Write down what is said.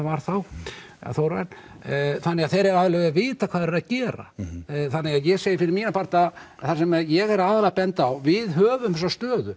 var þá Þórarinn þannig að þeir eiga alveg að vita hvað þeir eiga að gera þannig að ég segi fyrir mína parta það sem ég er aðallega að benda á við höfum þessa stöðu